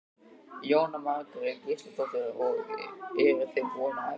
Jóhanna Margrét Gísladóttir: Og eruð þið búin að æfa mikið?